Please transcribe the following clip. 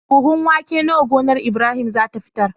Buhun wake nawa gonar Ibrahim zata fitar